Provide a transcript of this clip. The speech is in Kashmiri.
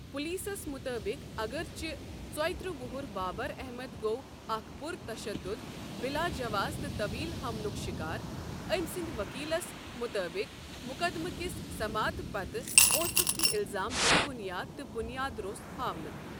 پولیسَس مُطٲبِق، اگرچہِ ژوترٛہ وُہُر بابر احمد گوٚو اکھ پُرتشدُد بلاجواز تہٕ طویل حملُک شکار، أمۍ سٕنٛدِ ؤکیٖلَس مُطٲبِق، مقدمہِ کِس سماعت پتہٕ اوسُکھ یہِ الزام بے بُنیاد تہٕ بُنیاد روٚس ہاونہٕ۔